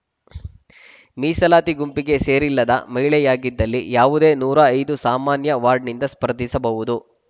ಮೀಸಲಾತಿ ಗುಂಪಿಗೆ ಸೇರಿಲ್ಲದ ಮಹಿಳೆಯಾಗಿದ್ದಲ್ಲಿ ಯಾವುದೇ ನೂರ ಐದು ಸಾಮಾನ್ಯ ವಾರ್ಡ್‍ನಿಂದ ಸ್ಪರ್ಧಿಸಬಹುದು